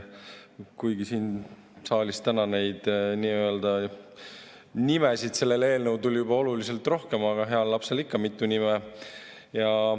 Kuigi siin saalis täna neid nimesid sellele eelnõule tuli juba oluliselt rohkem, aga heal lapsel ikka mitu nime.